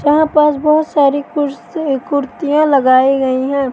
यहां पास बहोत सारी कुर्सी कुर्सिया लगाई गई है।